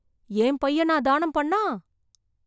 என் பையனா தானம் பண்ணா!